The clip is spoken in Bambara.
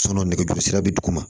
nɛgɛjuru sira be duguma